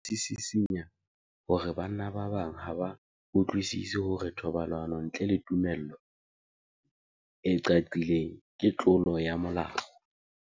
Sena se sisinya hore banna ba bang ha ba utlwisisi hore thobalano ntle le tumello e qaqileng ke tlolo ya molao.